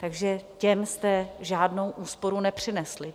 Takže těm jste žádnou úsporu nepřinesli.